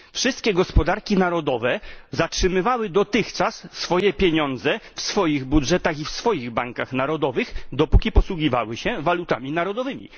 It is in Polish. Wszystkie gospodarki narodowe zatrzymywały dotychczas swoje pieniądze w swoich budżetach i w swoich bankach narodowych, dopóki posługiwały się walutami narodowymi.